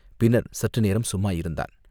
பின்னர் சற்று நேரம் சும்மா இருந்தான்.